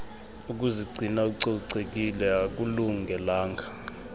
ukuzigcina ucocekile akulungelanga